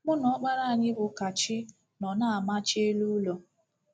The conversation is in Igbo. Mụ na ọkpara anyị bụ́ Kachi nọ na-amachi elu ụlọ.